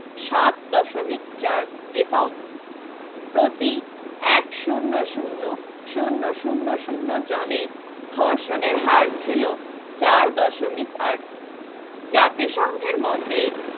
সাত দশমিক চার এবং প্রতি এক শূন্য শূন্য শূন্য শূন্য শূন্য জানে ধর্ষণের হার ছিল চার দশমিক আট জাতী সংঘের মতে